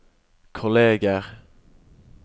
kolleger